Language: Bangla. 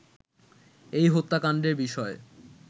এই হত্যাকাণ্ডের বিষয়ে